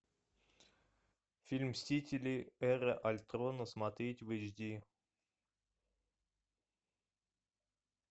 фильм мстители эра альтрона смотреть в эйч ди